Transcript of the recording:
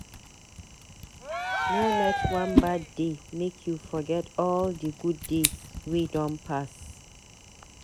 No let one bad day make you forget all di good days wey don pass.